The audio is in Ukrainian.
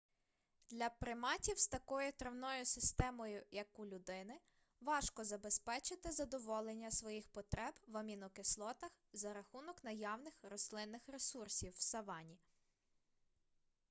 для приматів з такою травною системою як у людини важко забезпечити задоволення своїх потреб в амінокислотах за рахунок наявних рослинних ресурсів в савані